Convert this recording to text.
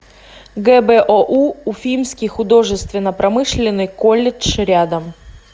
гбоу уфимский художественно промышленный колледж рядом